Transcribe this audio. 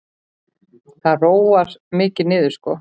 Það róar mikið niður sko.